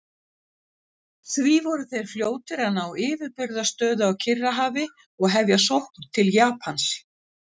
Því voru þeir fljótir að ná yfirburðastöðu á Kyrrahafi og hefja sókn til Japans.